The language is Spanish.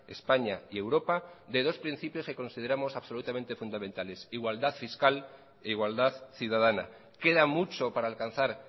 españa y europa de dos principios que consideramos absolutamente fundamentales igualdad fiscal e igualdad ciudadana queda mucho para alcanzar